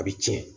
A bɛ tiɲɛ